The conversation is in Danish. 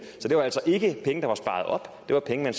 så det var altså ikke penge der var sparet op det var penge der